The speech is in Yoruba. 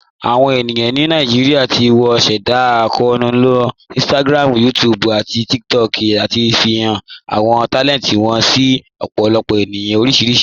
Awọn ènìyàn ni Naijíríà tí wọn sẹ̀dá akọọnu ló Instagram, YouTube, àti TikTok láti ṣáfíhàn àwọn talẹntì wọn sí ọ̀pọ̀lọpọ̀ ènìyàn oríṣiríṣì.